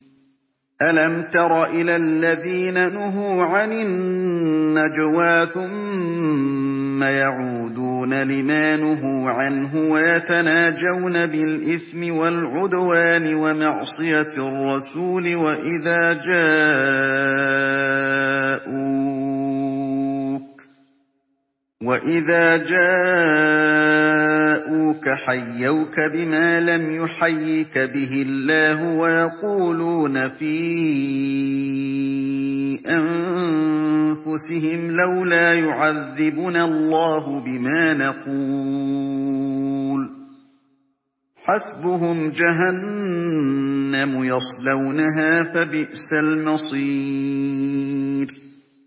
أَلَمْ تَرَ إِلَى الَّذِينَ نُهُوا عَنِ النَّجْوَىٰ ثُمَّ يَعُودُونَ لِمَا نُهُوا عَنْهُ وَيَتَنَاجَوْنَ بِالْإِثْمِ وَالْعُدْوَانِ وَمَعْصِيَتِ الرَّسُولِ وَإِذَا جَاءُوكَ حَيَّوْكَ بِمَا لَمْ يُحَيِّكَ بِهِ اللَّهُ وَيَقُولُونَ فِي أَنفُسِهِمْ لَوْلَا يُعَذِّبُنَا اللَّهُ بِمَا نَقُولُ ۚ حَسْبُهُمْ جَهَنَّمُ يَصْلَوْنَهَا ۖ فَبِئْسَ الْمَصِيرُ